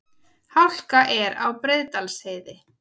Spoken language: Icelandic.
Hálka er á Breiðdalsheiði